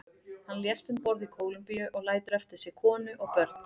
Hann lést um borð í Kólumbíu og lætur eftir sig konu og börn.